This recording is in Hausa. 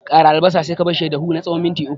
Ƙara albasa sai ka barshi ya dahu na tsawon minti uku.